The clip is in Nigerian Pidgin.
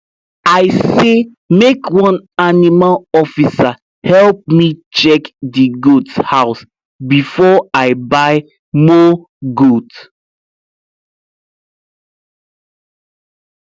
i say make one animal officer help me check the goat house before i buy more goat